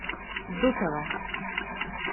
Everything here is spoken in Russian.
дутова